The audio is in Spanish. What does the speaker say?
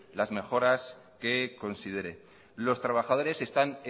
las mejoras que considere los trabajadores están